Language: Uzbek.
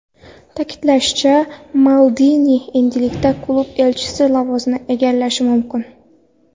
Ta’kidlanishicha, Maldini endilikda klub elchisi lavozimini egallashi mumkin.